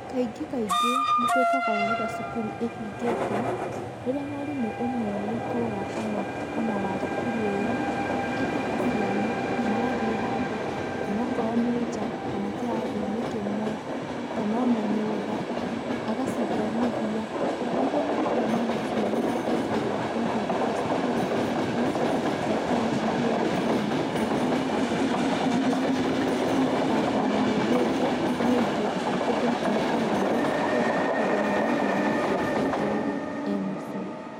Kaingĩ kaingĩ nĩ twĩkaga ũũ hĩndĩ ĩrĩa cukuru ĩhingĩtwo, rĩrĩa mwarimũ ũmwe wa itũũra o na kana wa cukuru ĩyo etaga ciana magathiĩ handũ onokorwo nĩ nja kana kirathi-inĩ kĩmwe kana o na nyũmba agacithomithia nĩguo o na rĩrĩa mwana ũcio magatuĩka atĩ nĩ ahingũra cukuru mwana ũcio ndagakorwo ariganĩirwo gũthoma kana akorwo ariganĩirwo kwandĩka no gũkorwo na ũgĩ ũngĩ mũingĩ gũkĩra ũrĩa ararĩ naguo cukuru tondũ nĩ arathomaga kaingĩ kaingĩ rĩrĩa e mũciĩ.